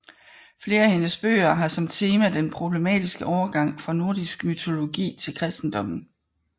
Flere af hendes bøger har som tema den problematiske overgang fra nordisk mytologi til kristendommen